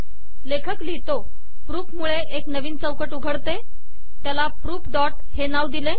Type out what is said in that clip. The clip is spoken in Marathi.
लेखक लिहितो प्रूफ त्यामुळे एक नवीन चौकट उघडते त्याला प्रूफ डॉट हे नाव दिले